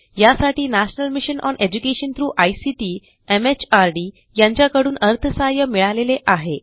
यासाठी national mission on education through ICT MHRD यांच्याकडून अर्थसहाय्य मिळालेले आहे